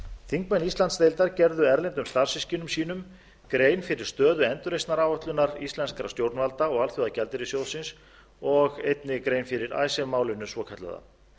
þingmenn íslandsdeildar gerðu erlendum starfssystkinum sínum grein fyrir stöðu endurreisnaráætlunar íslenskra stjórnvalda og alþjóðagjaldeyrissjóðsins og einnig grein fyrir icesave málinu svokallaða